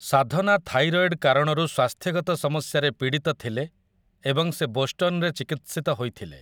ସାଧନା thyroid କାରଣରୁ ସ୍ୱାସ୍ଥ୍ୟଗତ ସମସ୍ୟାରେ ପୀଡ଼ିତ ଥିଲେ ଏବଂ ସେ ବୋଷ୍ଟନରେ ଚିକିତ୍ସିତ ହୋଇଥିଲେ ।